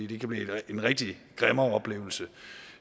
det kan blive en rigtig græmmeroplevelse